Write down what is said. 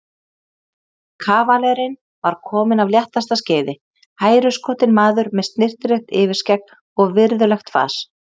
Kavalerinn var kominn af léttasta skeiði, hæruskotinn maður með snyrtilegt yfirskegg og virðulegt fas.